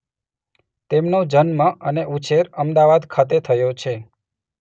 તેમનો જન્મ અને ઉછેર અમદાવાદ ખાતે થયો છે.